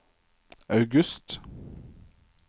august